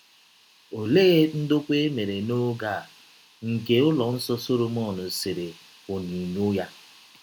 Ọlee ndọkwa e mere n’ọge a nke ụlọ nsọ Sọlọmọn sere ọnyinyọ ya?